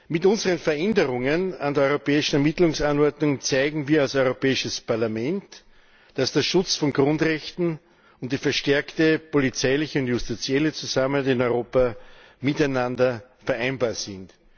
Mit unseren Veränderungen an der Europäischen Ermittlungsanordnung zeigen wir als Europäisches Parlament, dass der Schutz von Grundrechten und die verstärkte polizeiliche und justizielle Zusammenarbeit in Europa miteinander vereinbar sind.